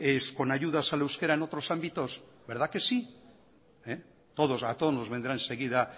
con ayudas al euskera en otros ámbitos verdad que sí a todos nos vendrá enseguida